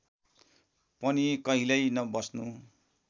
पनि कहिल्यै नबस्नू